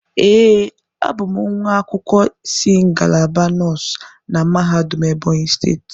Ee, a bụ m nwa akwụkwọ si ngalaba nọọsụ na mahadum Ebonyi steeti.